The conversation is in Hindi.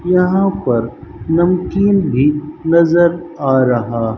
यहां पर नमकीन भी नजर आ रहा--